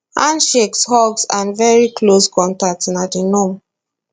handshakes hugs and very close contact na di norm